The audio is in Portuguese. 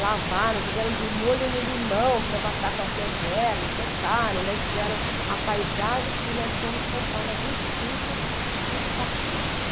Lavaram, puseram de molho no limão para matar qualquer germe, secaram, daí fizeram a paisagem e nós fomos comprar na vinte e cinco os patinhos.